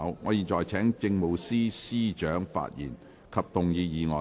我現在請政務司司長發言及動議議案。